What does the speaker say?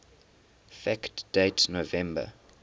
fact date november